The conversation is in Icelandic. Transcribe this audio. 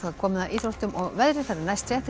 komið að íþróttum og veðri næstu fréttir